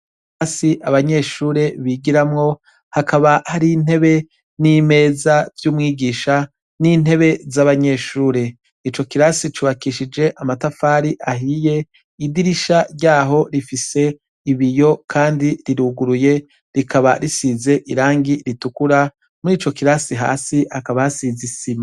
Hasi abanyeshure bigiramwo hakaba hari intebe n'imeza vy'umwigisha n'intebe z'abanyeshure ico kirasi cubakishije amatafari ahiye idirisha ryaho rifise ibiyo, kandi riruguruye rikaba risize irangi ritukura muri ico kira si hasi akabasizisima.